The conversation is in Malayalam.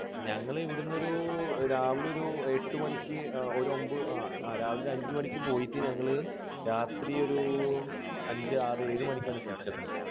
ഞങ്ങൾ ഇവിടെ നിന്ന് ഒരു രാവിലെ ഒരു എട്ടുമണിക്ക് ഒരു ഒൻപത് രാവിലെ അഞ്ചുമണിക്ക് പോയിട്ട് ഞങ്ങൾ രാത്രി ഒരു അഞ്ച്, ആറ്, ഏഴ് മണിക്കാണ് തിരിച്ചെത്തുന്നത്.